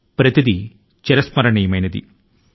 ఇవి అన్నీ కూడాను చిరస్మరణీయమైనవి